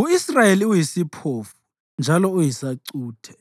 U-Israyeli Uyisiphofu Njalo Uyisacuthe